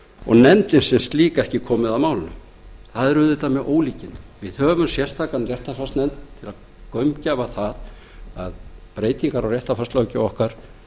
og nefndin sem slík ekki komið að málinu það er auðvitað með ólíkindum við höfum sérstaka réttarfarsnefnd til að gaumgæfa það að breytingar á réttarfarslöggjöf okkar